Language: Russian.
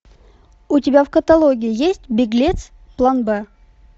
у тебя в каталоге есть беглец план бэ